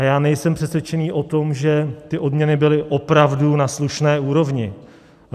A já nejsem přesvědčený o tom, že ty odměny byly opravdu na slušné úrovni.